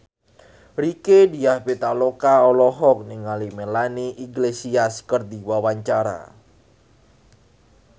Rieke Diah Pitaloka olohok ningali Melanie Iglesias keur diwawancara